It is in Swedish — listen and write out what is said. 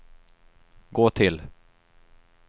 gå till